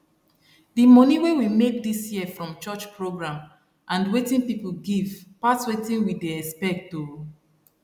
d money wey we make this year from church program and wetin people give pass wetin we dey expect o